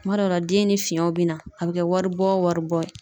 Kuma dɔw la den ni fiɲɛ bi na a bi kɛ waribɔ wari bɔ ye.